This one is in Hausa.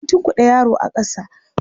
An tunkuɗe yaro a ƙasa.